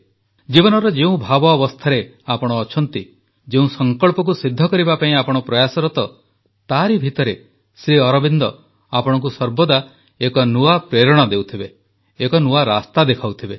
ଜୀବନର ଯେଉଁ ଭାବ ଅବସ୍ଥାରେ ଆପଣ ଅଛନ୍ତି ଯେଉଁ ସଂକଳ୍ପକୁ ସିଦ୍ଧ କରିବା ପାଇଁ ଆପଣ ପ୍ରୟାସରତ ତାରି ଭିତରେ ଶ୍ରୀଅରବିନ୍ଦ ଆପଣଙ୍କୁ ସର୍ବଦା ଏକ ନୂଆ ପ୍ରେରଣା ଦେଉଥିବେ ଏକ ନୂଆ ରାସ୍ତା ଦେଖାଉଥିବେ